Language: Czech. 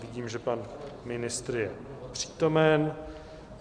Vidím, že pan ministr je přítomen.